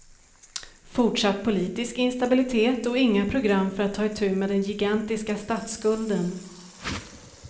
Fortsatt politisk instabilitet och inga program för att ta i tu med den gigantiska statsskulden.